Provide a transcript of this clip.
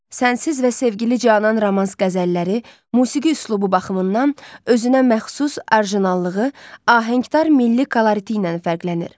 “Sənsiz” və “Sevgili canan” romans-qəzəlləri musiqi üslubu baxımından özünəməxsus orijinallığı, ahəngdar milli kolorit ilə fərqlənir.